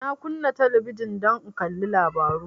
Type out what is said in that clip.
Na kunna talabijin don in kalli labaru